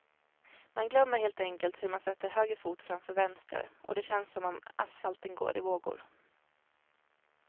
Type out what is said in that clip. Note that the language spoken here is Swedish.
Man glömmer helt enkelt hur man sätter höger fot framför vänster, och det känns som om asfalten går i vågor.